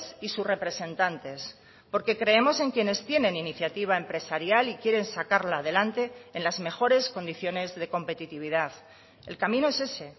y sus representantes porque creemos en quienes tienen iniciativa empresarial y quieren sacarla adelante en las mejores condiciones de competitividad el camino es ese